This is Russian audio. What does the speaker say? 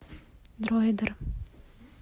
дроидер